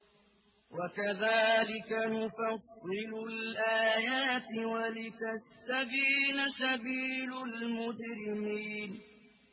وَكَذَٰلِكَ نُفَصِّلُ الْآيَاتِ وَلِتَسْتَبِينَ سَبِيلُ الْمُجْرِمِينَ